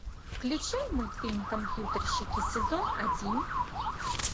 включай мультфильм компьютерщики сезон один